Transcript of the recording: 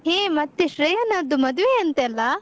ಹೇ ಮತ್ತೆ ಶ್ರೇಯನದ್ದು ಮದುವೆ ಅಂತೆಲ್ಲಾ?